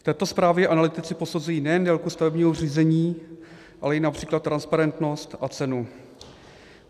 V této zprávě analytici posuzují nejen délku stavebního řízení, ale i například transparentnost a cenu.